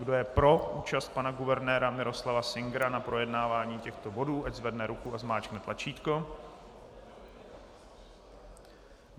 Kdo je pro účast pana guvernéra Miroslava Singera na projednávání těchto bodů, ať zvedne ruku a zmáčkne tlačítko.